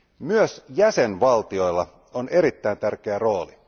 Myös jäsenvaltioilla on erittäin tärkeä rooli.